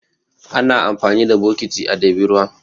Ana amfani da bokiti a ɗebi ruwa.